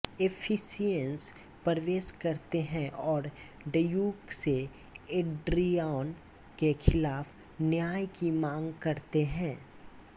एफिसियंस प्रवेश करते हैं और ड्यूक से एड्रियाना के खिलाफ न्याय की मांग करते हैं